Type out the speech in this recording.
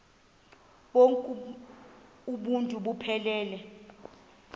bonk uuntu buphelele